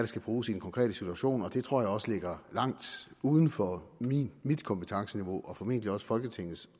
skal bruges i den konkrete situation og det tror jeg også ligger langt uden for mit kompetenceniveau og formentlig også folketingets